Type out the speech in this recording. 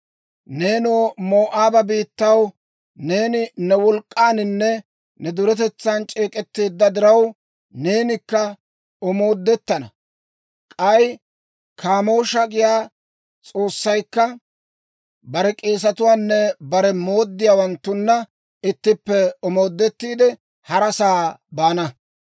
Neenoo, Moo'aaba biittaw, neeni ne wolk'k'aaninne ne duretetsan c'eek'etteedda diraw, neenikka omoodettana. K'ay Kaamoosha giyaa s'oossaykka bare k'eesetuwaanne bare mooddiyaawanttunna ittippe omoodettiide, harasaa baana.